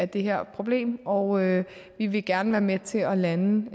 det her problem og vi vil gerne være med til at lande